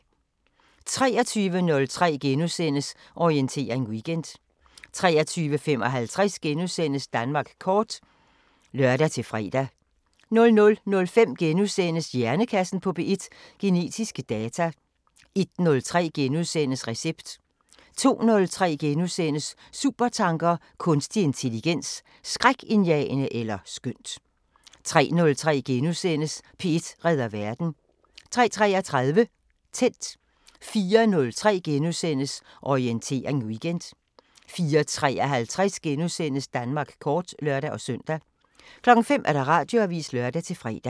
23:03: Orientering Weekend * 23:55: Danmark kort *(lør-fre) 00:05: Hjernekassen på P1: Genetiske data * 01:03: Recept * 02:03: Supertanker: Kunstig intelligens; Skrækindjagende eller skønt * 03:03: P1 redder verden * 03:33: Tændt 04:03: Orientering Weekend * 04:53: Danmark kort *(lør-søn) 05:00: Radioavisen (lør-fre)